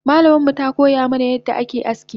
Malamanmu takoya mana yadda ake aski